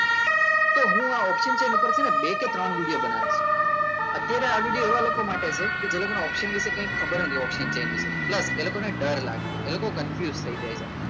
તો હું આ option છે ને એની ઉપર બે કે ત્રણ વિડીયો બનાવીશ અત્યારે આ વિડીયો એવા લોકો માટે છે જેને option વિશે કંઈ ખબર જ નથી option છે pulse એ લોકોને ડર લાગે છે એ લોકો confused થઈ જાય છે